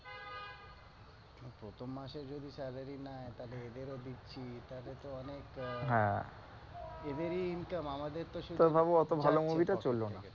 প্রথম মাসে যদি salary নেয় তাহলে এদেরও দিচ্ছি, তাহলে তো অনেক হ্যাঁ এদেরই income আমদের তো শুধু, তাহলে ভাব ওতো ভালো movie টা চললো না।